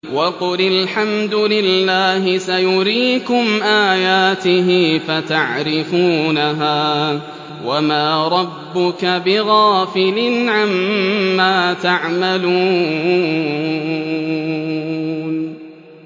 وَقُلِ الْحَمْدُ لِلَّهِ سَيُرِيكُمْ آيَاتِهِ فَتَعْرِفُونَهَا ۚ وَمَا رَبُّكَ بِغَافِلٍ عَمَّا تَعْمَلُونَ